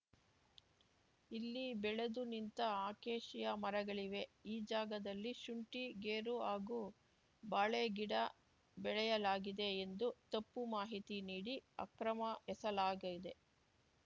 ಇಲ್ಲಿ ಬೆಳೆದು ನಿಂತ ಅಕೇಶಿಯ ಮರಗಳಿವೆ ಈ ಜಾಗದಲ್ಲಿ ಶುಂಠಿ ಗೇರು ಹಾಗೂ ಬಾಳೆ ಗಿಡ ಬೆಳೆಯಲಾಗಿದೆ ಎಂದು ತಪ್ಪು ಮಾಹಿತಿ ನೀಡಿ ಅಕ್ರಮ ಎಸಲಾಗಿದೆ